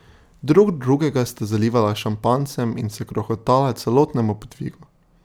Drug drugega sta zalivala s šampanjcem in se krohotala celotnemu podvigu.